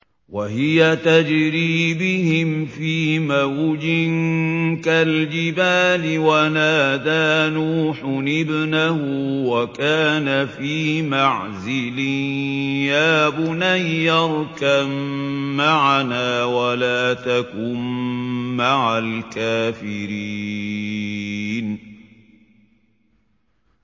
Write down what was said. وَهِيَ تَجْرِي بِهِمْ فِي مَوْجٍ كَالْجِبَالِ وَنَادَىٰ نُوحٌ ابْنَهُ وَكَانَ فِي مَعْزِلٍ يَا بُنَيَّ ارْكَب مَّعَنَا وَلَا تَكُن مَّعَ الْكَافِرِينَ